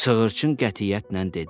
Sığırçın qətiyyətlə dedi: